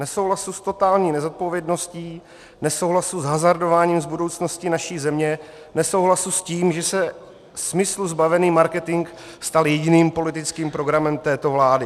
Nesouhlasu s totální nezodpovědností, nesouhlasu s hazardováním s budoucností naší země, nesouhlasu s tím, že se smyslu zbavený marketing stal jediným politickým programem této vlády.